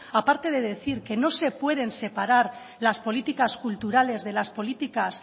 aparte de decir que no se pueden separar las políticas culturales de las políticas